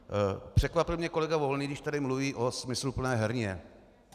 Překvapil mě kolega Volný, když tady mluvil o smysluplné herně.